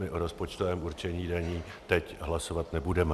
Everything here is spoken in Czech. My o rozpočtovém určení daní teď hlasovat nebudeme.